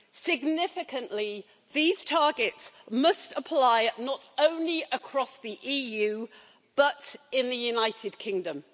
Significantly, these targets must apply not only across the EU but in the United Kingdom.